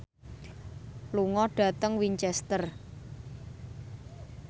lunga dhateng Winchester